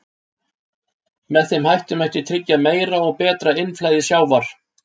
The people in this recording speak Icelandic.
Með þeim hætti mætti tryggja meira og betra innflæði sjávar.